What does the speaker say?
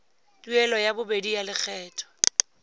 tuelo ya bobedi ya lekgetho